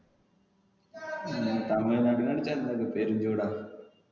തമിഴ് നാട്ടിന് അടുത്തു ചൂടാ